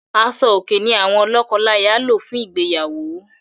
Aṣò-òkè ní àwọn lọ́kọláya lò fún ìgbéyàwó.